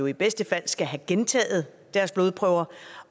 i bedste fald skal have gentaget deres blodprøver